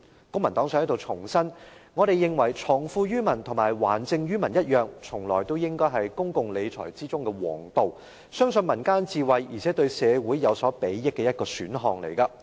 公民黨想在這裏重申，我們認為藏富於民和還政於民一樣，從來也應該是公共理財的皇道，是相信民間智慧，而且對社會有所裨益的一個選項。